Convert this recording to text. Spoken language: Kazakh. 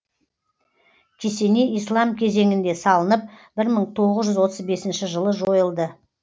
кесене ислам кезеңінде салынып бір мың тоғыз жүз отыз бесінші жылы жойылды